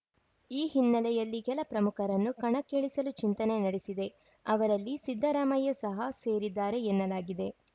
ಈ ಹಿನ್ನೆಲೆಯಲ್ಲಿ ಕೆಲ ಪ್ರಮುಖರನ್ನು ಕಣಕ್ಕಿಳಿಸಲು ಚಿಂತನೆ ನಡೆಸಿದೆ ಅವರಲ್ಲಿ ಸಿದ್ದರಾಮಯ್ಯ ಸಹ ಸೇರಿದ್ದಾರೆ ಎನ್ನಲಾಗಿದೆ